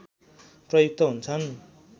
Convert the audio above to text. प्रयुक्त हुन्छ्न्